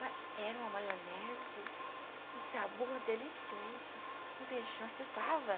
Ma, era uma maionese, um sabor delicioso, um feijão de fava.